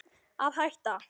Að hætta?